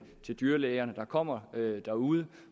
til dyrlægerne der kommer derude